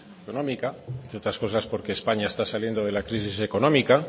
económica entre otras cosas porque españa está saliendo de la crisis económica